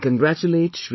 I congratulate Sh